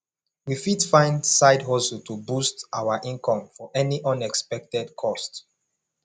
we fit find side hustle to boost our income for any unexpected cost